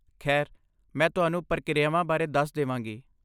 ਖੈਰ, ਮੈਂ ਤੁਹਾਨੂੰ ਪ੍ਰਕਿਰਿਆਵਾਂ ਬਾਰੇ ਦੱਸ ਦੇਵਾਂਗੀ ।